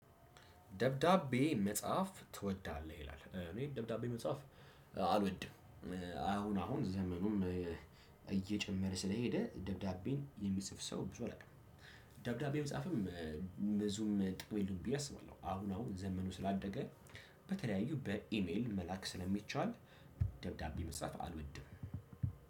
ደብዳቤ መጽሐፍ ትወዳለህ? ይላል እኔ ደብዳቤ መጽሐፍ አልወድም። አሁን አሁን ዘመኑም እየጨመረ ስለሄደ ደብዳቤን የሚጽፍ ሰው ብዙ አላውቅም ደብዳቤም መጻፍም ብዙም ጥቅም የለው ብየ አስባለሁ አሁን አሁን ዘመኑ ስላደገ በተለያዩ በኢሜል መላክ ስለሚቻል ደብዳቤ መጻፍ አልወድም